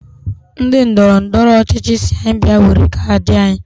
Ndị ndọrọndọrọ ọchịchị si anyi bịa were kaadị anyị